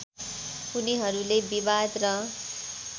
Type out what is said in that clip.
उनीहरूले विवाद र